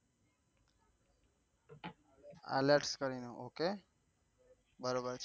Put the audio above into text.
Ielts કરી ને ok બરોબરછે.